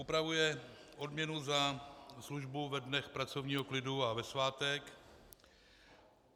Upravuje odměnu za službu ve dnech pracovního klidu a ve svátek.